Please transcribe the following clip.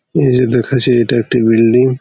এইযে দেখাছি এটা একটি বিল্ডিং ।